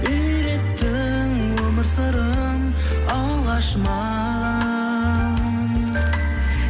үйреттің өмір сырын алғаш маған